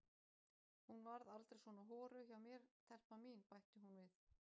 Hún varð aldrei svona horuð hjá mér telpan mín, bætti hún við.